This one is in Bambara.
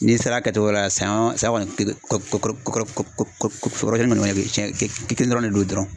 N'i sera kɛcogo la sayɔn sayɔ kɔni keke kok kokoro kokoro ko ko ko k be ye tiɲɛ ke ke kelen dɔrɔn ne don dɔrɔn.